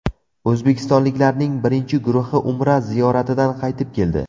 O‘zbekistonliklarning birinchi guruhi Umra ziyoratidan qaytib keldi.